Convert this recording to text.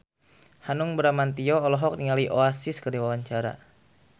Hanung Bramantyo olohok ningali Oasis keur diwawancara